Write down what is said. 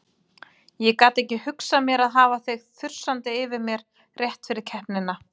Ég gat ekki hugsað mér að hafa þig þusandi yfir mér rétt fyrir keppnina.